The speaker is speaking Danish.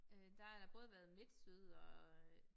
Øh der har da både været MidtSyd og øh